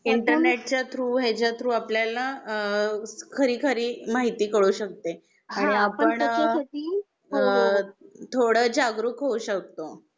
इंटरनेटच्या थ्रू आप ह्याच्या थ्रू आपल्याला अ खरी खरी माहिती कळू शकते आणि आपण अ पण त्याच्यासाठी थोड जागरूक होऊ शकतो.